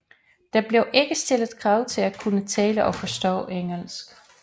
Der blev ikke stillet krav til at kunne tale og forstå engelsk